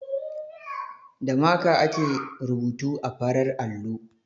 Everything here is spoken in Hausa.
Da maka ake rubutu a farar allo.